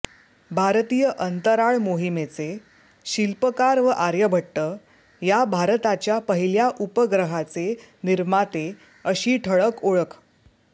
भारतीय अंतराळ मोहिमेचे शिल्पकार व आर्यभट्ट या भारताच्या पहिल्या उपग्रहाचे निर्माते अशी ठळक ओळख